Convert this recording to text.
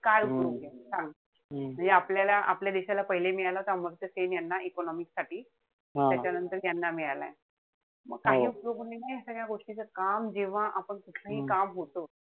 काय उपयोग सांग. म्हणजे आपल्याला आपल्या देशाला पहिले मिळला होता अमर्त्य सेन यांना, economics साठी. त्याच्यानंतर यांना मिळालाय. म काही उपयोग नाही या सगळ्या गोष्टीचा. काम जेव्हा आपण, कुठलंहि काम होत,